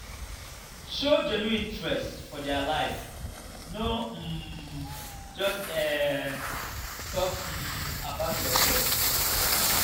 show genuine interest for their life no um just um talk um about yourself.